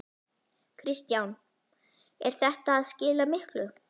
Kristján: Er þetta að skila miklu?